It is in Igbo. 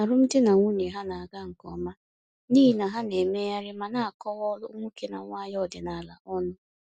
Alụmdi na nwunye ha na-aga nke ọma n’ihi na ha na-emegharị ma na-akọwa ọrụ nwoke na nwanyị ọdịnala ọnụ.